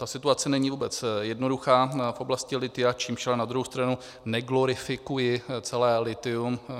Ta situace není vůbec jednoduchá v oblasti lithia, čímž ale na druhou stranu neglorifikuji celé lithium.